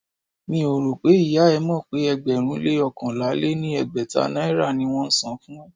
Mi ò rò pé ìyá e mọ̀ pé ẹgbẹ̀rún-lé-oókànlá-lé-ní-ẹgbẹ́ta naira ni wón ń san fún ẹ.